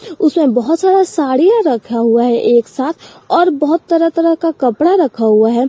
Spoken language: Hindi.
उसमें बहोत सारा साड़ियां रखा हुआ है एक साथ और बहोत तरह तरह का कपड़ा रखा हुआ है।